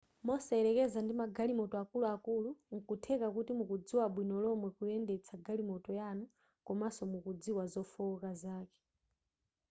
mosayelekeza ndi magalimoto akuluakulu nkutheka kuti mukudziwa bwino lomwe kuyendetsa galimoto yanu komanso mukudziwa zofooka zake